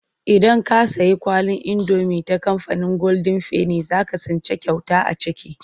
Idan ka sayi kwalin indomi ta kamfanin goldin feni za ka tsinci kyauta a ciki.